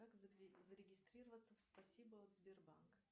как зарегистрироваться в спасибо от сбербанк